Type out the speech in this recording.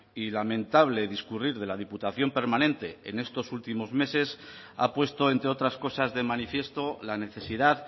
y lamentable discurrir de la diputación permanente en estos últimos meses ha puesto entre otras cosas de manifiesto la necesidad